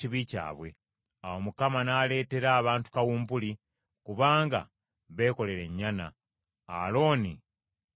Awo Mukama n’aleetera abantu kawumpuli, kubanga beekolera ennyana, Alooni gye yababumbira.